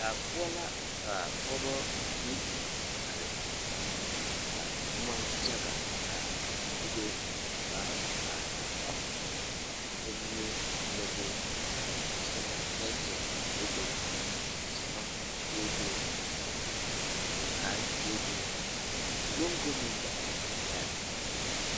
Daa poɔ la ka pɔɡebɔ bayi a are ka boma yaɡa a bebe ka ba are kɔɡe komie be la be sɛrmaatɛɛtɛɛ be la be zama beebe aŋkaare beebe moɡɡo meŋ ɡba be la a be.